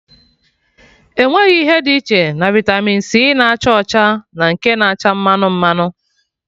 Enweghị ihe dị iche na vitamị c na-acha ọcha na nke na-acha mmanụ mmanụ